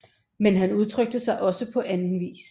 Men han udtrykte sig også på anden vis